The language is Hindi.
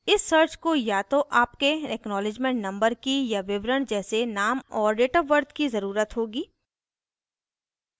इस सर्च को या तो आपके एक्नॉलिज्मेंट नंबर की या विवरण जैसे नाम और डेट ऑफ़ बर्थ की ज़रुरत होगी